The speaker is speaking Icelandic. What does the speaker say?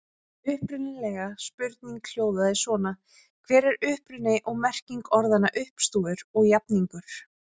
Upprunalega spurningin hljóðaði svona: Hver er uppruni og merking orðanna uppstúfur og jafningur?